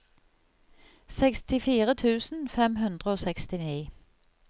sekstifire tusen fem hundre og sekstini